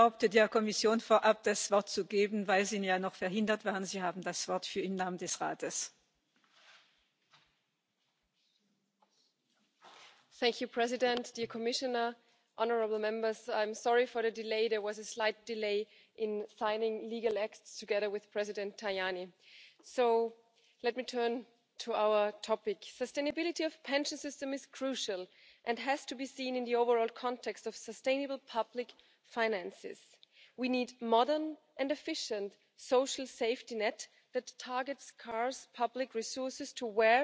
and adapting accrual conditions to diverse work patterns. This can help more people build up adequate pension rights. In conclusion, ensuring the long term sustainability of public finances is particularly important, given the ageing population and the debt levels in the EU. It is also of utmost importance that we do not leave our